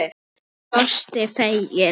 Hún brosti fegin.